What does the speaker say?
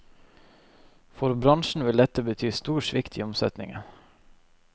For bransjen vil dette bety stor svikt i omsetningen.